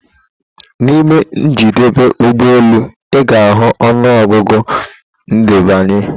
Na ime njedebe ụgbọ elu, ị ga-ahụ ọnụ ọgụgụ ndebanye